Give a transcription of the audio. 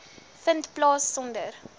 vind plaas sonder